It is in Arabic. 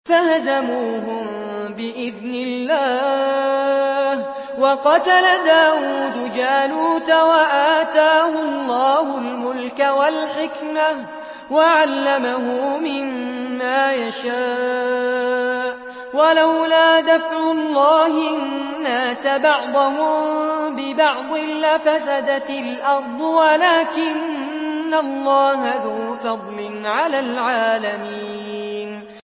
فَهَزَمُوهُم بِإِذْنِ اللَّهِ وَقَتَلَ دَاوُودُ جَالُوتَ وَآتَاهُ اللَّهُ الْمُلْكَ وَالْحِكْمَةَ وَعَلَّمَهُ مِمَّا يَشَاءُ ۗ وَلَوْلَا دَفْعُ اللَّهِ النَّاسَ بَعْضَهُم بِبَعْضٍ لَّفَسَدَتِ الْأَرْضُ وَلَٰكِنَّ اللَّهَ ذُو فَضْلٍ عَلَى الْعَالَمِينَ